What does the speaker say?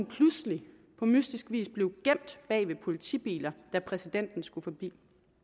pludselig på mystisk vis gemt bag ved politibiler da præsidenten skulle forbi